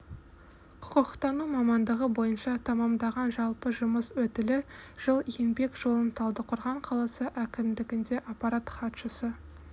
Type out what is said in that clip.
құқықтану мамандығы бойынша тәмамдаған жалпы жұмыс өтілі жыл еңбек жолын талдықорған қаласы әкімдігінде аппарат хатшысы